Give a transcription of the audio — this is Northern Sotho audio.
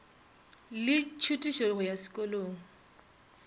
le tšhutišo go ya sekolong